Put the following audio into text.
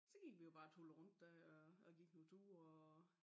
Så gik vi jo bare og tullede rundt dér og og gik nogen ture og